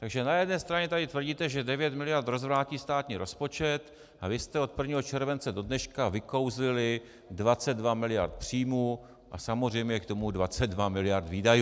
Takže na jedné straně tady tvrdíte, že 9 miliard rozvrátí státní rozpočet, a vy jste od 1. července do dneška vykouzlili 22 miliard příjmů a samozřejmě k tomu 22 miliard výdajů.